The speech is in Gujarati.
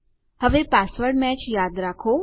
હવે પાસવર્ડ્સ મેચ યાદ કરો